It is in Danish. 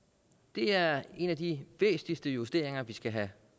det er en af de væsentligste justeringer af vi skal have